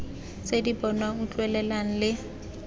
tse di bonwang utlwelelwang le